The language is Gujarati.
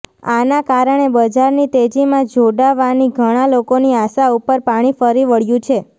આના કારણે બજારની તેજીમાં જોડાવાની ઘણાં લોકોની આશા ઉપર પાણી ફરી વળ્યું છે